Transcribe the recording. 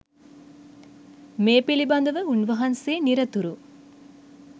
මේ පිළිබඳව උන්වහන්සේ නිරතුරු